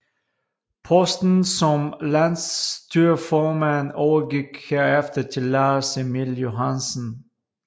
Posten som landsstyreformand overgik herefter til Lars Emil Johansen